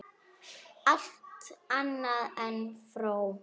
Allt annað en fró!